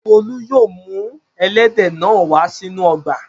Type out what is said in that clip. Folú yóò mú ẹlẹ́dẹ̀ náà wá sínú ọgbà.